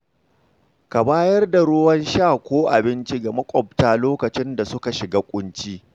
Ka bayar da ruwan sha ko abinci ga makwabta lokacin da suka shiga ƙunci.